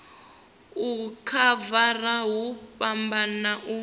u khavara hu fhambana u